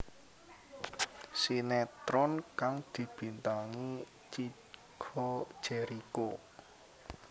Sinetron kang dibintangi Chico Jericho